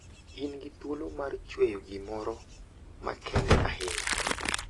In gi thuolo mar chweyo gimoro makende ahinya.